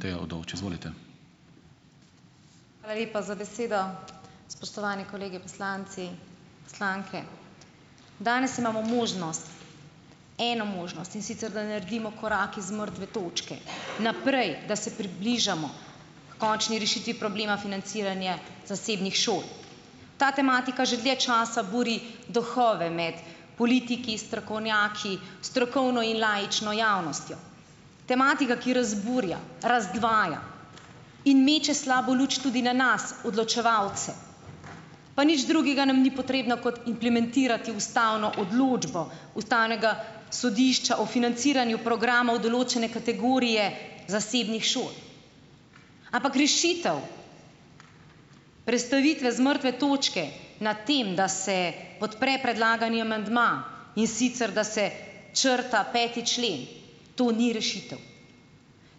Teja Udovč, izvolite. Hvala lepa za besedo, spoštovani kolegi poslanci, poslanke, danes imamo možnost, eno možnost, in sicer da naredimo korak iz mrtve točke naprej, da se približamo h končni rešitvi problema financiranja zasebnih šol. Ta tematika že dlje časa buri duhove med politiki, strokovnjaki, strokovno in laično javnostjo, tematika, ki razburja, razdvaja in meče slabo luč tudi na nas odločevalce, pa nič drugega nam ni potrebno kot implementirati ustavno odločbo ustavnega sodišča o financiranju programov določene kategorije zasebnih šol. Ampak rešitev prestavitve z mrtve točke na tem, da se podpre predlagani amandma, in sicer da se črta peti člen, to ni rešitev,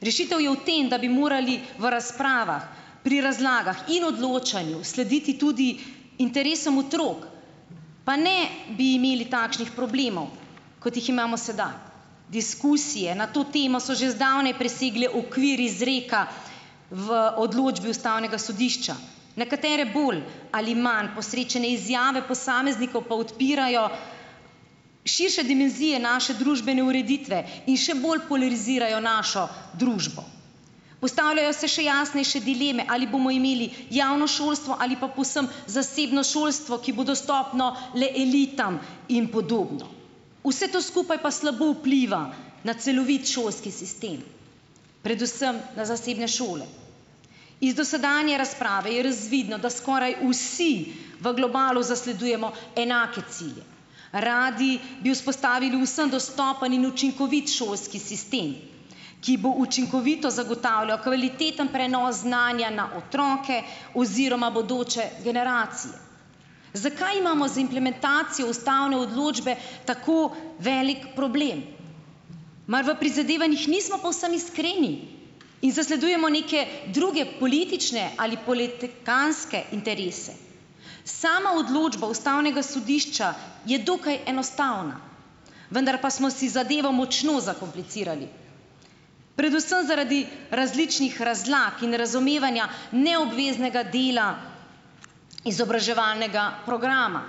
rešitev je v tem, da bi morali v razpravah pri razlagah in odločanju slediti tudi interesom otrok pa ne bi imeli takšnih problemov, kot jih imamo sedaj. Diskusije na to temo so že zdavnaj presegle okvir izreka v odločbi ustavnega sodišča, nekatere bolj ali manj posrečene izjave posameznikov pa odpirajo širše dimenzije naše družbene ureditve in še bolj polarizirajo našo družbo. Postavljajo se še jasnejše dileme, ali bomo imeli javno šolstvo ali pa povsem zasebno šolstvo, ki bo dostopno le elitam, in podobno, vse to skupaj pa slabo vpliva na celovit šolski sistem, predvsem na zasebne šole. Iz dosedanje razprave je razvidno, da skoraj vsi v globalu zasledujemo enake cilje, radi bi vzpostavili vsem dostopen in učinkovit šolski sistem, ki bo učinkovito zagotavljal kvaliteten prenos znanja na otroke oziroma bodoče generacije. Zakaj imamo z implementacijo ustavne odločbe tako velik problem, mar v prizadevanjih nismo povsem iskreni in zasledujemo neke druge politične ali politikantske interese? Sama odločba ustavnega sodišča je dokaj enostavna, vendar ma smo si zadevo močno zakomplicirali, predvsem zaradi različnih razlag in razumevanja neobveznega dela izobraževalnega programa.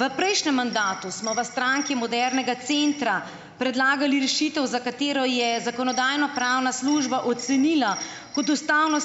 V prejšnjem mandatu smo v Stranki modernega centra predlagali rešitev, za katero je zakonodajno-pravna služba ocenila kot ustavno ...